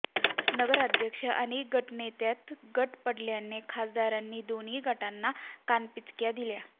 नगराध्यक्षा आणि गटनेत्यांच्यात गट पडल्याने खासदारांनी दोन्ही गटांना कानपिचक्या दिल्या